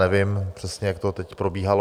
Nevím přesně, jak to teď probíhalo.